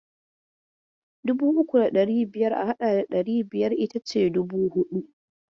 Dubu uku da ɗari biyar a haɗa da ɗari biyar itace dubu huɗu.